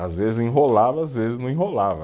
Às vezes enrolava, às vezes não enrolava.